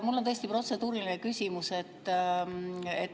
Mul on tõesti protseduuriline küsimus.